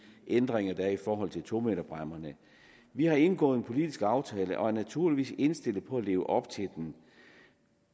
ændringer der er i forhold til to meterbræmmerne vi har indgået en politisk aftale og er naturligvis indstillet på at leve op til den